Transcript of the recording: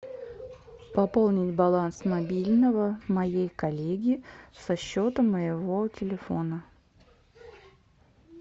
пополнить баланс мобильного моей коллеги со счета моего телефона